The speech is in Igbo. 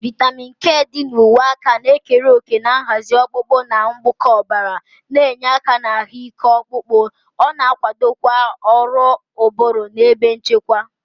Vitamin K dị na uwe aka na-ekere òkè na nhazi ọkpụkpụ na mkpụkọ ọbara, na-enye aka na ahụike ọkpụkpụ. Ọ na-akwadokwa ọrụ ụbụrụ na ebe nchekwa.